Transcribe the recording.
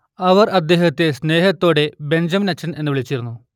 അവർ അദ്ദേഹത്തെ സ്നേഹത്തോടെ ബെഞ്ചമിനച്ചൻ എന്ന് വിളിച്ചിരുന്നു